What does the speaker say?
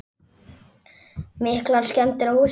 Breki: Miklar skemmdir á húsinu?